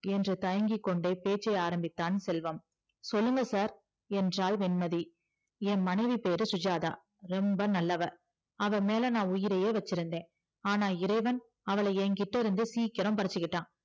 என்று தயங்கிக்கொண்டே பேச ஆரம்பிச்சான் செல்வம் சொல்லுங்க sir என்றால் வெண்மதி என் மணைவி பெயர் சுஜாத்தா ரொம்ப நல்லவ அவ மேல உயிரையே வச்சி இருந்த ஆனா இறைவன் அவள என்கிட்டே இருந்து சீக்கிரம் பரிச்சிகிட்டா